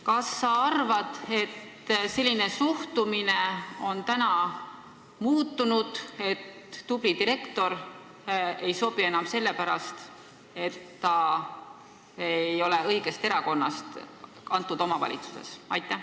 Kas sinu arvates enam ei ole seda suhtumist, et tubli direktor ei sobi, kuna ta ei ole konkreetsele omavalitsusele sobivast erakonnast?